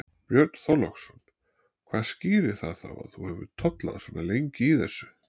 Björn Þorláksson: Hvað skýrir það þá að þú hefur tollað svona lengi í þessu?